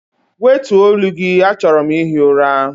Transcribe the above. Wètuọ̀ olu gị, achọrọ m ihi ụra!